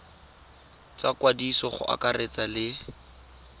tsa ikwadiso go akaretsa le